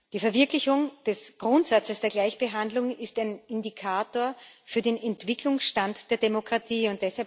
Die Verwirklichung des Grundsatzes der Gleichbehandlung ist ein Indikator für den Entwicklungsstand der Demokratie.